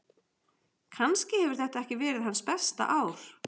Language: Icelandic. Kannski hefur þetta ekki verið hans besta ár.